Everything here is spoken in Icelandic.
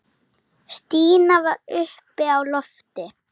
Stína var uppi á lofti.